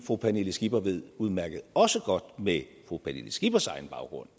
fru pernille skipper ved udmærket også godt med fru pernille skippers egen baggrund